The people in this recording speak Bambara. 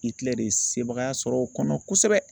Itilɛri ye sebagaya sɔrɔ o kɔnɔ kosɛbɛ